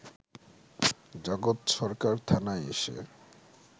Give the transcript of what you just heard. জগৎ সরকার থানায় এসে